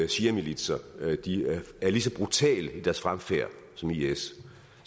shiamilitser er lige så brutale i deres fremfærd som is